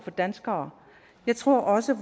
danskere jeg tror også